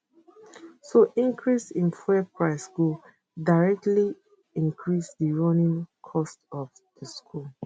so increase in fuel price go directly increase di running cost of di schools